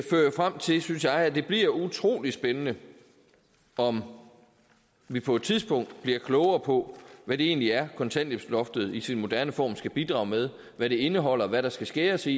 frem til synes jeg at det bliver utrolig spændende om vi på et tidspunkt bliver klogere på hvad det egentlig er kontanthjælpsloftet i sin moderne form skal bidrage med hvad det indeholder hvad der skal skæres i